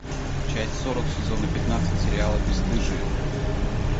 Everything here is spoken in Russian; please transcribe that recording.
часть сорок сезона пятнадцать сериала бесстыжие